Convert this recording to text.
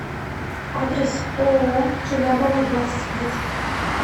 адрес ооо желябова двадцать пять